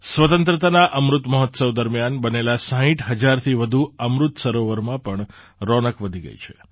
સ્વતંત્રતાના અમૃત મહોત્સવ દરમિયાન બનેલાં ૬૦ હજારથી વધુ અમૃત સરોવરમાં પણ રોનક વધી ગઈ છે